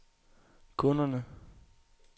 kunderne